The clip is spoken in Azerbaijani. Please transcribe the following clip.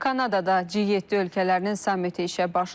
Kanadada G7 ölkələrinin sammiti işə başlayır.